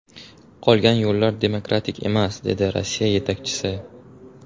Qolgan yo‘llar demokratik emas”, dedi Rossiya yetakchisi.